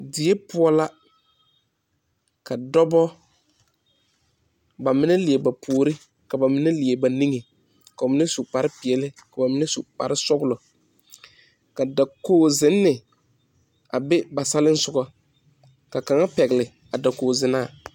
Die puo la ka dɔba ba mene leɛ ba poure ka ba mene leɛ ba ninge ka ba mene su kpare peɛle ka ba mene su kpare sɔglo ka dakoo zenni a bɛ ba salinsugɔ ka kanga pɛgle a dakoo zenaa.